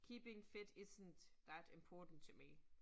Keeping fit isn't that important to me